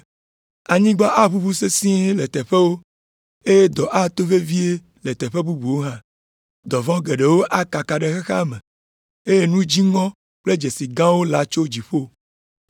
Anyigba aʋuʋu sesĩe le teƒewo, eye dɔ ato vevie le teƒe bubuwo hã. Dɔ vɔ̃ geɖewo akaka ɖe xexea me, eye nu dziŋɔ kple dzesi gãwo latso dziƒo.